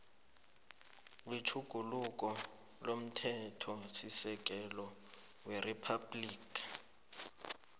wetjhuguluko lomthethosisekelo weriphabhligi